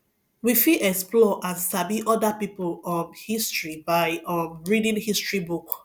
we fit explore and sabi oda pipo um history by um reading history book